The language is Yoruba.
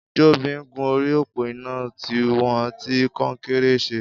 Jobi n gún óri ópó iná tiwọn fi kọ̀nkéré ṣẹ̀